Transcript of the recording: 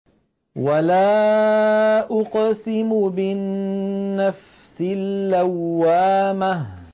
وَلَا أُقْسِمُ بِالنَّفْسِ اللَّوَّامَةِ